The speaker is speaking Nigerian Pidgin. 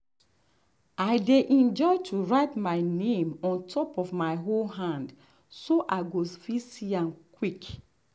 i dey enjoy to write my name on top my hoe hand so i i go fit see am quick.